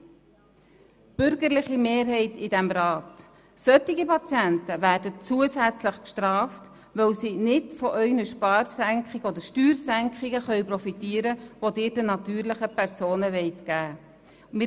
An die bürgerliche Mehrheit dieses Rats: Solche Patienten werden zusätzlich bestraft, weil sie nicht von Ihren Steuersenkungen profitieren können, die Sie den natürlichen Personen gewähren wollen.